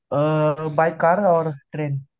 bye car or train